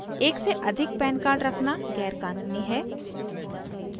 एक से अधिक pan कार्ड रखना गैर क़ानूनी है